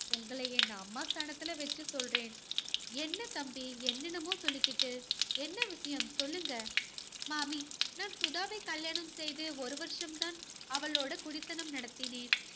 உங்களை என் அம்மா ஸ்தானத்துல வச்சு சொல்றேன். என்ன தம்பி என்னென்னமோ சொல்லிக்கிட்டு, என்ன விஷயம் சொல்லுங்க மாமி, நான் சுதாவை கல்யாணம் செய்து ஒரு வருஷம் தான் அவளோட குடித்தனம் நடத்தினேன்.